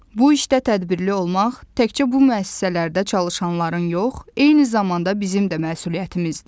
Bu işdə tədbirli olmaq təkcə bu müəssisələrdə çalışanların yox, eyni zamanda bizim də məsuliyyətimizdir.